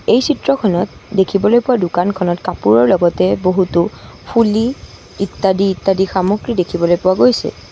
এই চিত্ৰখনত দেখিবলৈ পোৱা দোকানখনত কাপোৰৰ লগতে বহুতো ফুলি ইত্যাদি ইত্যাদি সামগ্ৰী দেখিবলৈ পোৱা গৈছে।